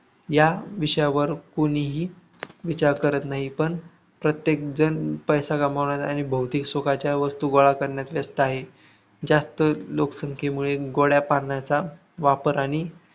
या विषयावर कुणीही विचार करत नाही. पण प्रत्येक जण पैसा कमावणे आणि भौतिक सुखाच्या वस्तू गोळा करण्यात व्यस्त आहे. जास्त लोकसंख्येमुळे गोड्या पाण्याचा वापर आणि